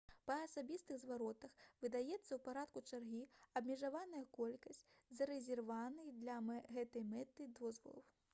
па асабістых зваротах выдаецца ў парадку чаргі абмежаваная колькасць зарэзерваваных для гэтай мэты дазволаў